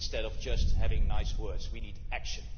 Instead of just having nice words, we need action.